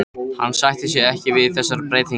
Hún sætti sig ekki við þessar breytingar!